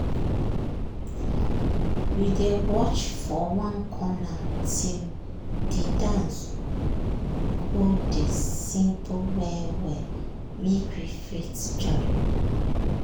we dey watch for one corner till de dance go dey simple well well make we fit join.